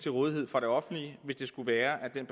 til rådighed for det offentlige hvis det skulle være at den